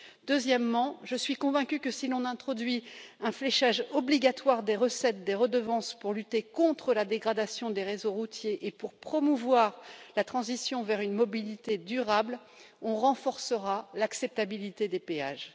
Deuxièmement, je suis convaincue que si l'on introduit un fléchage obligatoire des recettes des redevances pour lutter contre la dégradation des réseaux routiers et pour promouvoir la transition vers une mobilité durable, on renforcera l'acceptabilité des péages.